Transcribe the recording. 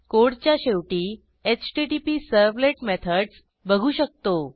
कोडच्या शेवटी HTTP servlet methods बघू शकतो